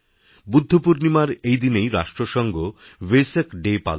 বুদ্ধপূর্ণিমার এই দিনেই রাষ্ট্রসঙ্ঘ ভেসাক ডে পালন করে